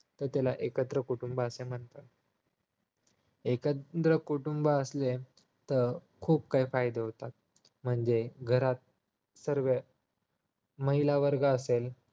तर त्याला एकत्र कुटुंब असे म्हणतात एकत्र कुटुंब असणे अं खूप काही फायदे होतात म्हणजे घरात सर्व महिला वर्गाचा